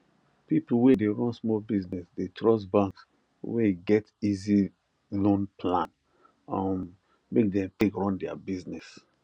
people wey dey run small business dey trust banks wey get easy loan plan um make them take run their business